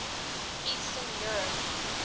eastern europe